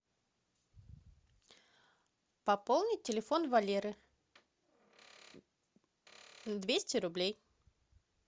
пополнить телефон валеры двести рублей